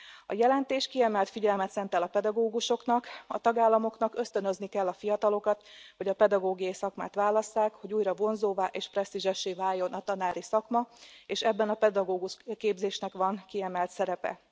A jelentés kiemelt figyelmet szentel a pedagógusoknak a tagállamoknak ösztönözni kell a fiatalokat, hogy a pedagógiai szakmát válasszák, hogy újra vonzóvá és presztízsessé váljon a tanári szakma, és ebben a pedagógusképzésnek van kiemelt szerepe.